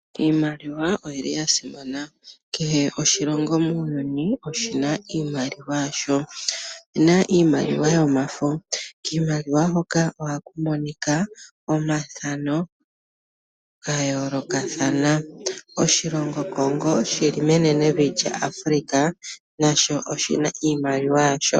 Iimaliwa oyili yasimana kehe oshilongo muuyuni oshina oshimaliwa yasho. Opuna iimaliwa yomafo kiimaliwa hoka ohaku monika omathano gayolokathana. Oshilongo Congo shili menenevi lyaAfrika nasho oshina iimaliwa yasho.